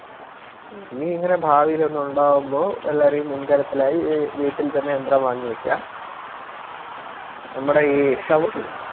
ഇനി ഇങ്ങനെ ഭാവിലോന്നുണ്ടാകുമ്പോ എല്ലാരും ഈ മുൻകരുതലായി വീട്ടിൽ തന്നെ യന്ത്രം വാങ്ങി വെക്കാം നമ്മടയി